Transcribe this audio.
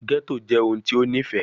Ghetto jẹ ohun ti o nifẹ